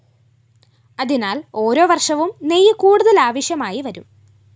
അതിനാല്‍ ഓരോവര്‍ഷവും ഗി കൂടുതല്‍ ആവശ്യമായിവരും